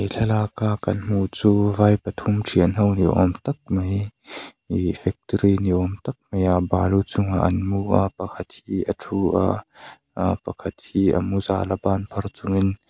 thlalaka kan hmuh chu vai pathum thian ho ni awm tak mai ihh factory ni awm tak maia balu chungah an mu a pakhat hi a thu a aa pakhat hi a mu zala banphar chungin.